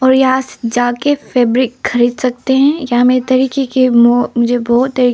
यहां जाके फैब्रिक खरीद सकते हैं या मेरे तरीके मुझे बहुत तरीके--